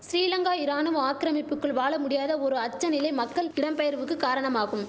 சிறிலங்கா இராணுவ ஆக்கிரமிப்புக்குள் வாழ முடியாத ஒரு அச்ச நிலை மக்கள் இடம்பெயர்வுக்கு காரணமாகும்